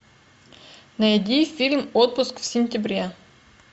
найди фильм отпуск в сентябре